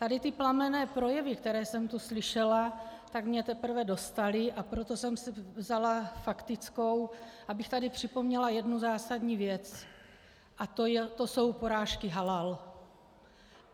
Tady ty plamenné projevy, které jsem tu slyšela, tak mě teprve dostaly, a proto jsem si vzala faktickou, abych tady připomněla jednu zásadní věc a to jsou porážky halal.